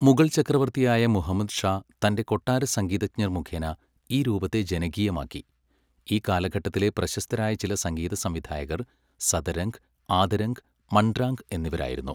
മുഗൾ ചക്രവർത്തിയായ മുഹമ്മദ് ഷാ തന്റെ കൊട്ടാര സംഗീതജ്ഞർ മുഖേന ഈ രൂപത്തെ ജനകീയമാക്കി, ഈ കാലഘട്ടത്തിലെ പ്രശസ്തരായ ചില സംഗീതസംവിധായകർ സദരംഗ്, ആദരംഗ്, മൺരാംഗ് എന്നിവരായിരുന്നു.